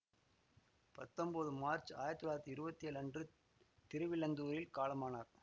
பத்தொம்போது மார்ச் ஆயிரத்தி தொள்ளாயிரத்தி இருவத்தி ஏழு அன்று திருவிழந்தூரில் காலமானார்